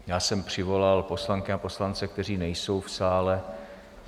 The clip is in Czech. Já jsem přivolal poslankyně a poslance, kteří nejsou v sále.